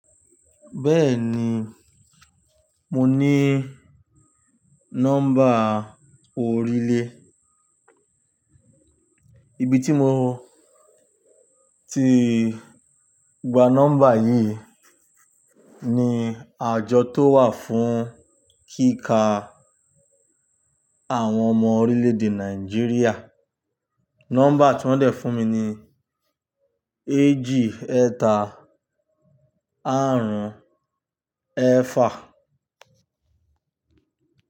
Bẹ́ẹ̀ni, mo ní nọ́mbà orílẹ̀. Ibi tí mo ti gba nọ́mbà yìí ni àjọ tó wà fún kíkà àwọn ọmọ orílẹ̀-èdè Nàìjíríà. Nọ́mbà tí wọ́n dẹ̀ fún mi ni éjì ẹta àrún ẹẹ́fà.